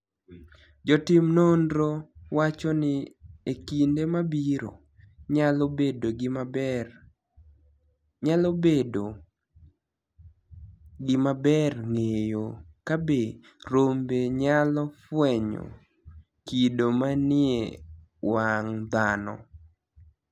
Jotim noniro wacho nii e kinide mabiro, niyalo bedo gimaber nig'eyo kabe rombe niyalo fweniyo kido maniie wanig' dhano.